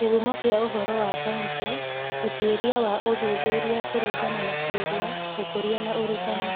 Kĩhumo kĩa ũhoro wa Kaunti: Ũtuĩria wa ũthuthuria kũringana na ciũria, Ũkũria na Ũrutani